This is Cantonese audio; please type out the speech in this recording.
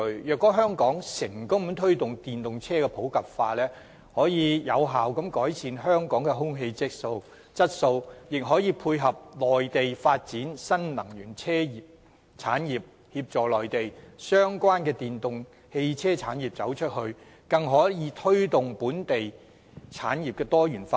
若香港成功推動電動車普及化，將可有效改善香港的空氣質素，亦可配合內地發展新能源車產業，協助內地相關電動汽車產業"走出去"，更可推動本地產業多元化。